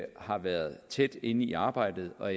har været tæt inde i arbejdet og